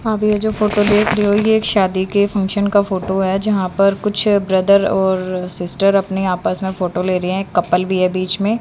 आगे ये जो फोटो देख रहे हो ये एक शादी के फंक्शन का फोटो है जहां पर कुछ ब्रदर और सिस्टर अपने आपस में फोटो ले रहे हैं कपल भी है बीच में।